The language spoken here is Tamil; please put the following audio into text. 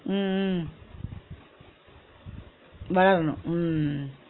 உம் உம் வளரனு ஹம்